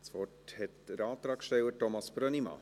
Das Wort hat der Antragsteller, Thomas Brönnimann.